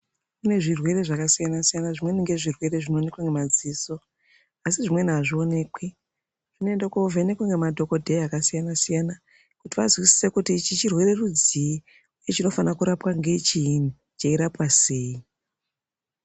Kune zvirwere zvaka siyana siyana zvimweni nge zvirwere zvino onekwa nge madziso asi zvimweni azvi onekwi zvinoende ko vhenekwa ne madhokodheya aka siyana siyana kuti vazwisise kuti ichi chirwere rudzii uye chinofana kurapwa ngechii chei rapwa sei.